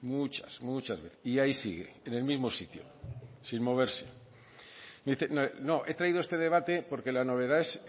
muchas muchas veces y ahí sigue en el mismo sitio sin moverse y dice no he traído este debate porque la novedad es